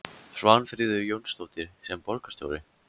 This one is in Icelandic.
Svanfríður Jónsdóttir: Sem borgarstjóri?